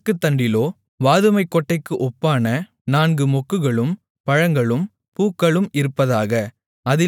விளக்குத்தண்டிலோ வாதுமைக் கொட்டைக்கு ஒப்பான நான்கு மொக்குகளும் பழங்களும் பூக்களும் இருப்பதாக